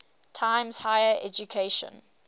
times higher education